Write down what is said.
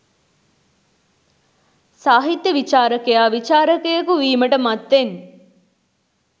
සාහිත්‍ය විචාරකයා විචාරකයකු වීමට මත්තෙන්